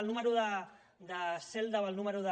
el número de cel·la o el número de